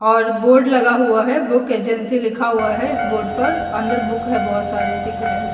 और बोर्ड लगा हुआ है बुक एजेंसी लिखा हुआ है इस बोर्ड पर अंदर बुक है बहोत सारे दिख रहे है।